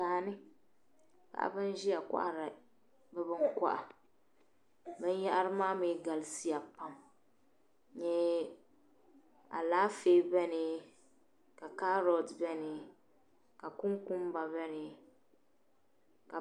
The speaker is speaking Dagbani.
Daani paɣibi n ziya. n kohiri bi bin kohira bin yahiri maa mi galisiya pam. .alaafee beni, ka kaarɔt beni ka kunkumba beni